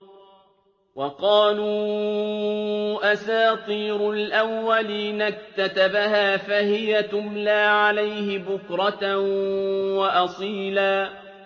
وَقَالُوا أَسَاطِيرُ الْأَوَّلِينَ اكْتَتَبَهَا فَهِيَ تُمْلَىٰ عَلَيْهِ بُكْرَةً وَأَصِيلًا